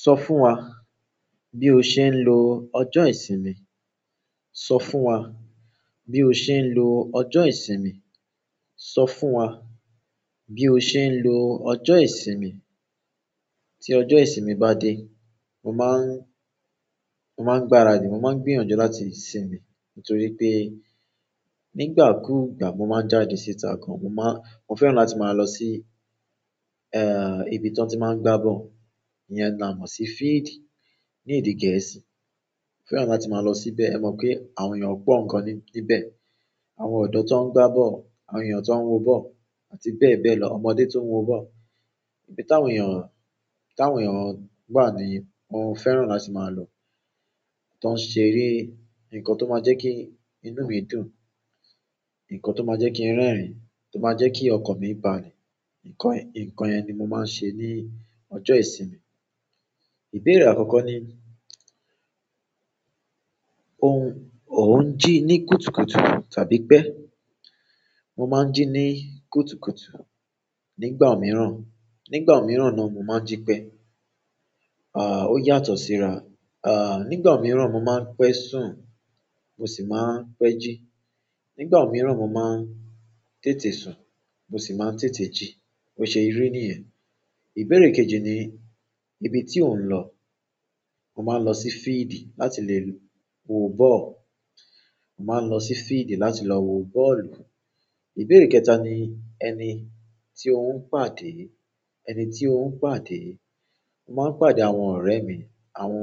Sọ fún wa bí o ṣe ń lo ọjọ́ ìsinmi. Sọ fún wa bí o ṣe ń lo ọjọ́ ìsinmi. Sọ fún wa bí o ṣe ń lo ọjọ́ ìsinmi. Tí ọjọ́ ìsinmi bá dé, mo máa ń gbáradì. Mo máa ń gbìyànjú láti sinmi nítorí pé nígbà kúù gbà mo máa ń jáde síta gan. Mo fẹ́ràn láti máa lọ sí, ibi tí wọ́n ti máa ń gbá ball. Iyẹn ni a mọ̀ sí field ní èdè Gẹ̀ẹ́sì. Mo fẹ́ràn láti máa lọ síbẹ̀. Ẹ mọ pé àwọn èèyàn ó pọ̀ nǹkan níbẹ̀. Àwọn ọ̀dọ́ tó wọn gbá ball, àwọn èèyàn tó wọn wo ball àti bẹ́ẹ̀ bẹ́ẹ̀ lọ. Ọmọdé tó ń wo bọ́ọ̀lù. Ibi táwọn èèyàn wà ní mo fẹ́ràn láti máa lọ. Tí wọ́n ṣeré, ǹnkan tó máa jẹ́ kí inú mi dùn, ǹnkan tó máa jẹ́ kí n rẹ́rìn-ín, tó máa jẹ́ kí ọkàn mi balẹ̀. Ǹkan yẹn ni mo máa ń ṣe ní ọjọ́ ìsinmi. Ìbéèrè àkọ́kọ́ ni o n ji ni kùtùkùtù tàbí pe? Mo máa ń jí ní kùtùkùtù. Nígbà mìíràn náà mo máa ń jí pẹ́. Ó yàtọ̀ síra. À, nígbà mìíràn mo máa ń pẹ́ sùn mo sì máa ń pẹ́ jí. Nígbà mìíràn mo máa ń tètè sùn mo sì máa ń tètè jí. Bo ṣe ri nìyẹn. Ìbéèrè kejì ni ibi tí ò ń lọ. Mo máa ń lọ sí field láti lè wo bọ́ọ̀lù. Mo máa ń lọ sí field láti lọ wo bọ́ọ̀lù. Ìbéèrè kẹta ni ẹni tí ò ń pàdé. Ẹni tí ò ń pàdé. Mo máa ń pàdé àwọn ọ̀rẹ́ mi, àwọn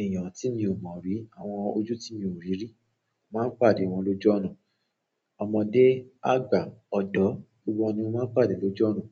èèyàn tí mi ò mọ̀ rí, àwọn ojú tí mi ò rí rí. Mo máa ń pàdé wọn lójú ọnà ọmọdé, àgbà, ọ̀dọ́, gbogbo wọn ni mo máa ń pàdé lójoójúmọ́.